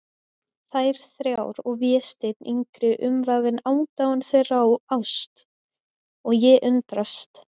Þær þrjár og Vésteinn yngri umvafinn aðdáun þeirra og ást, og ég undrast.